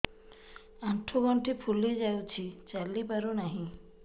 ଆଂଠୁ ଗଂଠି ଫୁଲି ଯାଉଛି ଚାଲି ପାରୁ ନାହିଁ